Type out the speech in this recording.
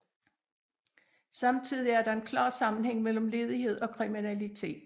Samtidig er der en klar sammenhæng mellem ledighed og kriminalitet